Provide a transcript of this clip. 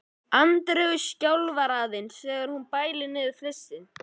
Andreu skjálfa aðeins þegar hún bælir niður flissið.